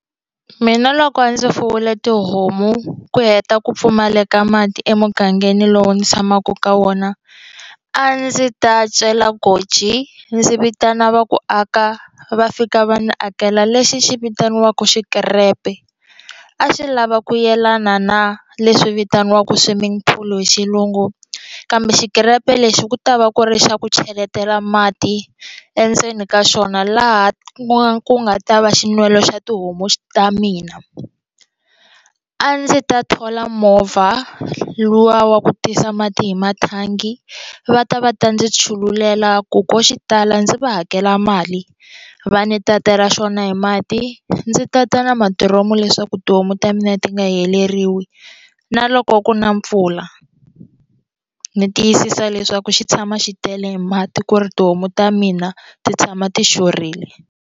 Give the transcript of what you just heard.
Mina loko a ndzi fuwile tihomu ku heta ku pfumaleka mati emugangeni lowu ndzi tshamaka ka wona a ndzi ta cela goji ndzi vitana va ku aka va fika va ndzi akela lexi xi vitaniwaka xikirepe a swi lava ku yelana na leswi vitaniwaka swimming pool hi xilungu kambe xikirepe lexi ku ta va ku ri xa ku cheletela mati endzeni ka xona laha nga ta va xi nwela xa tihomu ta mina a ndzi ta thola movha luwa wa ku tisa mati hi mathangi va ta va ta ndzi chululela ku ko xitalo ndzi va hakela mali va ni tatela xona hi mati ndzi ta ta na madiromu leswaku tihomu ta mina ti nga heleriwi na loko ku na mpfula ndzi tiyisisa leswaku xi tshama xi tele hi mati ku ri tihomu ta mina ti tshama ti xurhile.